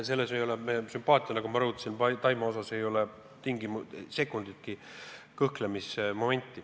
Sümpaatias Taimaa vastu, nagu ma rõhutasin, me ei kõhkle sekunditki.